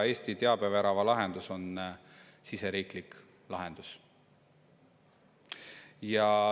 Eesti teabevärava lahendus on siseriiklik lahendus.